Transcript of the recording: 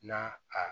Na a